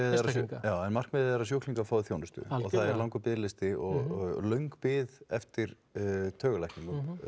einstaklinga já en markmiðið er að sjúklingar fái þjónustu og það er langur biðlisti og löng bið eftir taugalækningum ég